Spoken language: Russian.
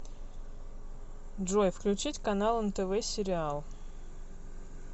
джой включить канал нтв сериал